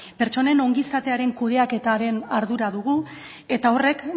pertsonen ongizatearen kudeaketaren ardura dugu eta horrek